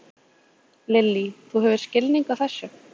Lillý: Þú hefur skilning á þessu?